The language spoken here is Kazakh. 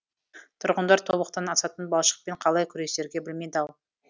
тұрғындар тобықтан асатын балшықпен қалай күресерге білмей дал